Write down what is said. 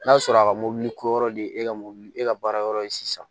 N'a sɔrɔ a ka mɔbili ko yɔrɔ de ye e ka mobili e ka baara yɔrɔ ye sisan